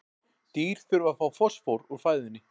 Dýr þurfa að fá fosfór úr fæðunni.